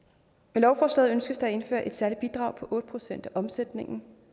med lovforslaget ønskes der indført et særligt bidrag på otte procent af omsætningen